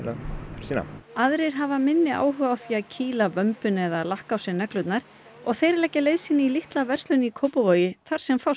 sína aðrir hafa minni áhuga á því að kýla vömbina eða lakka á sér neglurnar og þeir leggja leið sína í litla verslun í Kópavogi þar sem fást